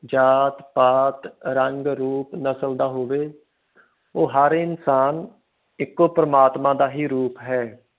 ਜਾਤ ਪਾਤ ਰੰਗ ਰੂਪ ਨਸਲ ਦਾ ਹੋਵੇ ਉਹ ਹਰ ਇਨਸਾਨ ਇਕੋ ਪਰਮਾਤਮਾ ਦਾ ਹੀ ਰੂਪ ਹੈ